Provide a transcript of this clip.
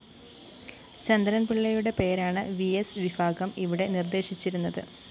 ചന്ദ്രന്‍ പിള്ളയുടെ പേരാണ്‌ വിഎസ്‌ വിഭാഗം ഇവിടെ നിര്‍ദ്ദേശിച്ചിരുന്നത്‌